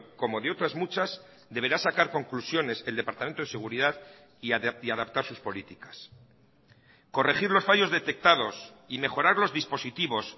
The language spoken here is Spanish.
como de otras muchas deberá sacar conclusiones el departamento de seguridad y adaptar sus políticas corregir los fallos detectados y mejorar los dispositivos